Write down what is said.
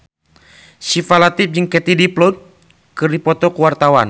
Syifa Latief jeung Katie Dippold keur dipoto ku wartawan